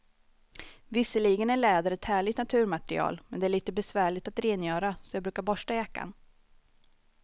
Visserligen är läder ett härligt naturmaterial, men det är lite besvärligt att rengöra, så jag brukar borsta jackan.